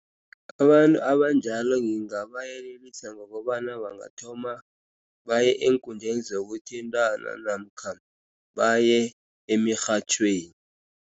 Abantu abanjalo ngingabayelelisa ngokobana bangathoma baye eenkundleni zokuthintana namkha baye emirhatjhweni.